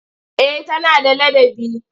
Eh tana da ladabi.